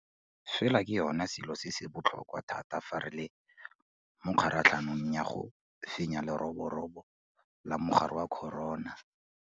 Fela ke yona selo se se botlhokwa thata fa re le mo kgaratlhong ya go fenya leroborobo la mogare wa corona.